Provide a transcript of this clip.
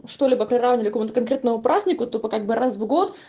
что-либо приравняли к какому-то конкретному празднику тупо как бы раз в год